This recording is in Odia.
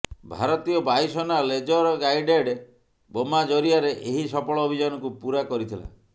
ଭାରତୀୟ ବାୟୁସେନା ଲେଜର ଗାଇଡେଡ ବୋମା ଜରିଆରେ ଏହି ସଫଳ ଅଭିଯାନକୁ ପୂରା କରିଥିଲା